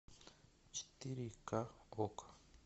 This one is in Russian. четыре ка окко